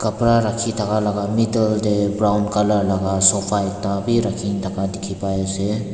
kapara rakhi thaka laga middle te brown colour laga sofa ekta bi rakhi thaka dikhi pai ase.